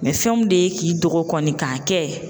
fɛn min de ye k'i dɔgɔ kɔni ka kɛ...